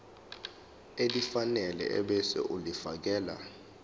elifanele ebese ulifiakela